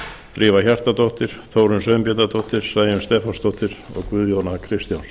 drífa hjartardóttir þórunn sveinbjarnardóttir sæunn stefánsdóttir og guðjón a kristjánsson